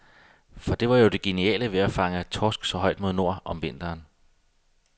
For det var jo det geniale ved at fange torsk så højt mod nord, om vinteren.